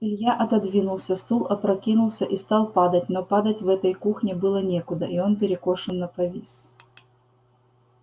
илья отодвинулся стул опрокинулся и стал падать но падать в этой кухне было некуда и он перекошенно повис